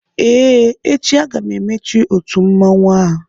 Ee, echi aga m emechi otu mmanwụ a